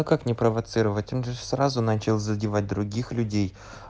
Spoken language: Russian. ну как не провоцировать он же сразу начал задевать других людей